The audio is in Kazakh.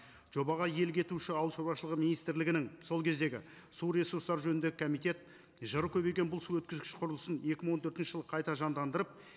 жобаға иелік етуші ауылшаруашылығы министрлігінің сол кездегі су ресурстары жөніндегі комитет жыры көбейген бұл су өткізгіш құрылысын екі мың он төртінші жылы қайта жандандырып